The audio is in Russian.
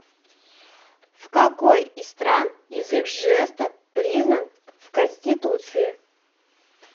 в какой из стран язык жестов признан в конституции